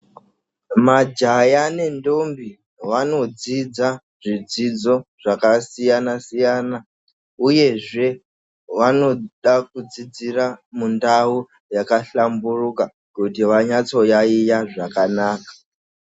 Majaya ne ndombi vanodzidza zvidzidzo zvaka siyana siyana uyezve vanoda kudzidzira mundau yaka hlamburuka kuti vanatso yayiya zvakanaka.